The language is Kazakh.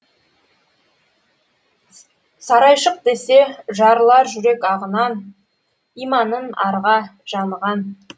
сарайшық десе жарылар жүрек ағынан иманын арға жаныған